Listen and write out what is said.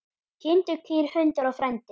Kindur, kýr, hundar og frændi.